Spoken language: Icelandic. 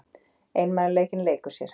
Einmanaleikinn leikur sér.